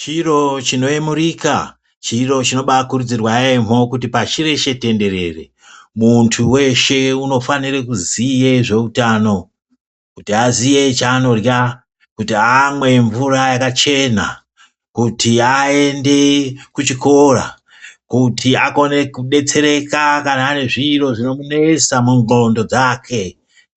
Chiro chinoyemurika, chiro chinobakurudzirwa yaemho kuti pashi reshe tenderere, muntu weshe unofanire kuziye zveutano, kuti aziye chaanorya, kuti amwe mvura yakachena, kuti aende kuchikora, kuti akone kubetsereka kana ane zviro zvinomunesa mundxondo dzake.